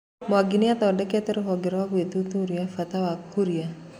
Mwangi niathondekete ruhonge rwa guthuthuria bata wa huria